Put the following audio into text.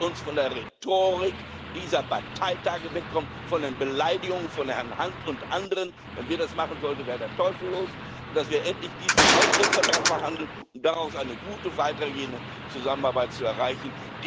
Lasst uns von der Rhetorik dieser Parteitage wegkommen, von den Beleidigungen von Herrn Hunt und anderen wenn wir das machen sollten, wäre der Teufel los und endlich diesen Austrittsvertrag verhandeln, um daraus eine gute weitergehende Zusammenarbeit zu erreichen.